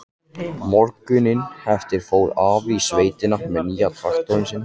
Morguninn eftir fór afi í sveitina með nýja traktorinn sinn.